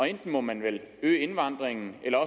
enten må man øge indvandringen eller